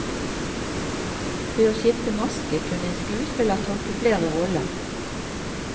Ved å skifte maske kunne en skuespiller tolke flere roller.